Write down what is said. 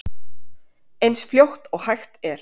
Eins fljótt og hægt er.